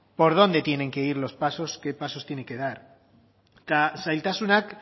por dónde tienen que ir los pasos qué pasos tienen que dar eta zailtasunak